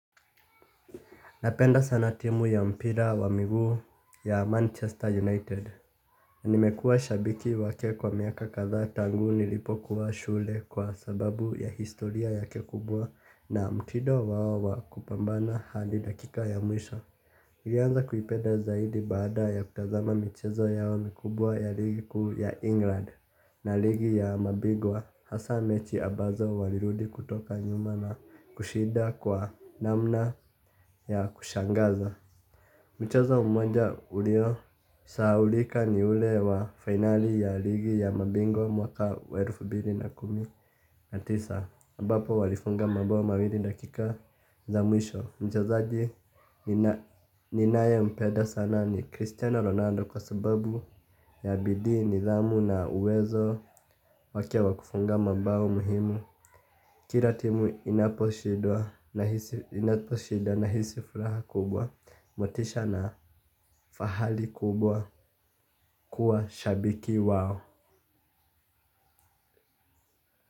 Napenda sana timu ya mpira wa miguu ya Manchester United. Nimekua shabiki wake kwa miaka kaza tangu nilipo kuwa shule kwa sababu ya historia ya kekubwa na mtido wao wa kupambana hadi dakika ya mwisho. Nilianza kuipeda zaidi bada ya kutazama michezo yao mikubwa ya ligiku ya England na ligi ya mabigwa hasa mechi abazo walirudi kutoka nyuma na kushida kwa namna ya kushangaza. Mchezo mmoja ulio, sahaulika ni ule wa finali ya ligi ya mabingwa mwaka waerufu bilina kumi natisa, ambapo walifunga mabao mawiri dakika za mwisho. Mchaza ji ninaye mpeda sana ni Cristiano Ronaldo kwa sababu ya bidii nidhamu na uwezo wake wakufunga mabao muhimu. Kiratimu inaposhidwa nahisi furaha kubwa motisha na fahali kubwa kuwa shabiki wao.